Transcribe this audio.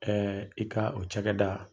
i ka o cakɛda